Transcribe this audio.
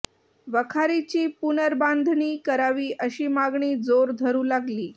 वखारीची पुनर्बांधणी करावी अशी मागणी जोर धरू लागली